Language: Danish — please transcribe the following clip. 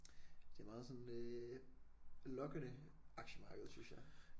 Det er meget sådan øh lokkende aktiemarkedet synes jeg